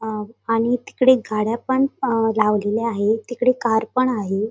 अ आणि तिकडे गाड्यापन अ लावलेल्या आहेत तिकडे कार पण आहे.